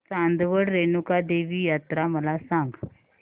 चांदवड रेणुका देवी यात्रा मला सांग